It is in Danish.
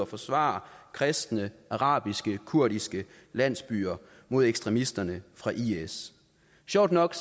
forsvare kristne arabiske kurdiske landsbyer mod ekstremisterne fra is sjovt nok